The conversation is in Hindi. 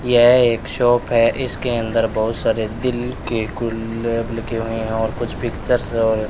यह एक शॉप है इसके अंदर बहुत सारे दिल के गुलाब लगे हुए हैं और कुछ पिक्चर्स और --